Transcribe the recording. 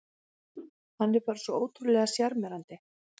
Hann er bara svo ótrúlega sjarmerandi